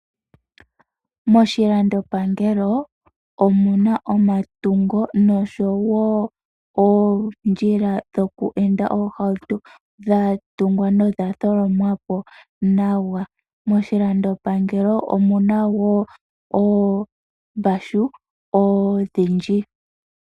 Moshilandopangelo omuna omatungo noshowo oondjila dhoku enda oohauto, dha tungwa nodha tholomwa po nawa. Moshilandopangelo omuna wo oombashu odhindji.